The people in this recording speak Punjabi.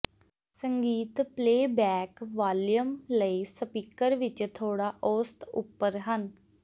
ਸੰਗੀਤ ਪਲੇਅਬੈਕ ਵਾਲੀਅਮ ਲਈ ਸਪੀਕਰ ਵਿਚ ਥੋੜ੍ਹਾ ਔਸਤ ਉਪਰ ਹਨ